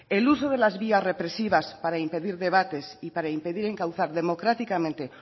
el uso de las vías represivas para impedir debates y para impedir encauzar democráticamente